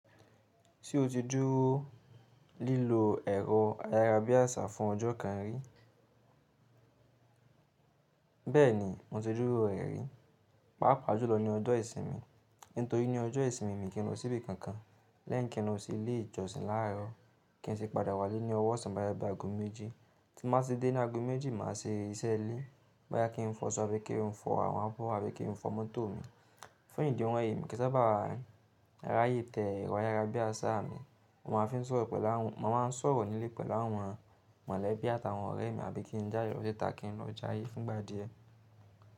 Ṣé o ti dúró lílo ẹ̀rọ ayárabíàṣá fún ọjọ́ kan rí? Bẹ́ẹ̀ni, mo ti dúró rẹ̀ rí, pàápàá jùlọ ní ọjọ́ ìsinmi. Nítorí ní ọjọ́ ìsinmi mi kì í lọ síbi kankan. Lẹ́yin kin lo sì lé ìjọsìn láàárọ̀ kí n sì padà wálé ní ọwọ́osan bóyá bi ago méjì. Tí mo bá ti dé ní ago méjì, màá ṣe iṣẹ́ ilé. Boyá kí n fọ ṣọ́ọ̀ bi kí n fọ àwọn abọ́ àbí kí n fọ mọ́tò mi. Fún ìdí ohun èyí mi kì í sábà ráyè tẹ ẹ̀rọ ayárabíàṣá mi. Mo máa ń sọ̀rọ̀ nílé pẹ̀lú àwọn mọ̀lẹ́bí àtàwọn ọ̀rẹ́ mi àbí kí n jáde lo sita kí n lọ jáye fún ìgbà díẹ̀.